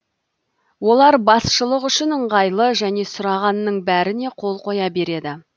олар басшылық үшін ыңғайлы және сұрағанның бәріне қол қоя береді